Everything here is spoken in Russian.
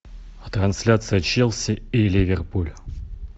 трансляция челси и ливерпуль